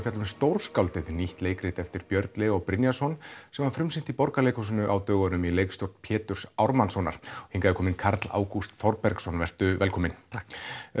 fjalla um stórskáldið nýtt leikrit eftir Björn Leó Brynjarsson sem var frumsýnt í Borgarleikhúsinu á dögunum í leikstjórn Péturs Ármannssonar hingað er kominn Karl Ágúst Þorbergsson vertu velkominn takk